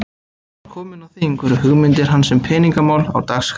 Þegar hann var kominn á þing, voru hugmyndir hans um peningamál á dagskrá.